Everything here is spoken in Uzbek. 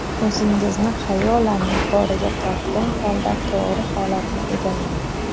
O‘zingizni xayolan yuqoriga tortgan holda, to‘g‘ri holatni egallang.